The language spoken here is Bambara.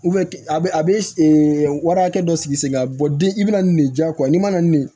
a bɛ a bɛ wari hakɛ dɔ sigi sen kan den i bɛna nin de diya ko n'i man na nin